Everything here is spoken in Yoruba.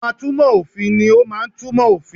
Àwon atúnmọ̀ òfin ni o máa n túnmo òfin